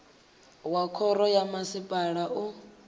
wa khoro ya masipala u